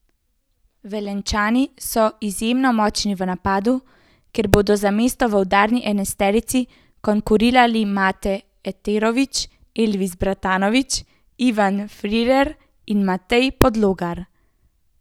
Velenjčani so izjemno močni v napadu, kjer bodo za mesto v udarni enajsterici konkurirali Mate Eterović, Elvis Bratanović, Ivan Firer in Matej Podlogar.